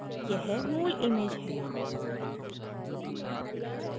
यह मूल image है